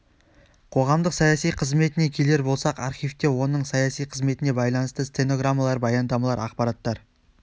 қоғамдық саяси қызметіне келер болсақ архивте оның саяси қызметіне байланысты стенограммалар баяндамалар ақпараттар